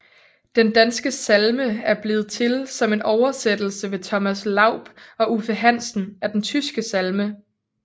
Den danske salme er blevet til som en oversættelse ved Thomas Laub og Uffe Hansen af den tyske salme